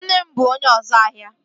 Nne m bụ onye ọzu ahia